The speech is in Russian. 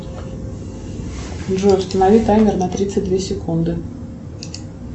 джой установи таймер на тридцать две секунды